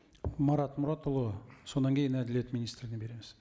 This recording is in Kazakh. марат мұратұлы содан кейін әділет министріне береміз